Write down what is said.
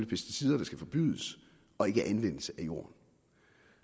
pesticider der skal forbydes og ikke anvendelse af jorden